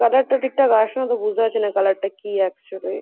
Colour -টা ঠিক ঠাক আসছে না তো বুঝতে পারছি না কালার -টা কি অ্যাকচুয়ালি ।